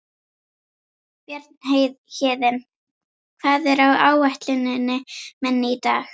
Bjarnhéðinn, hvað er á áætluninni minni í dag?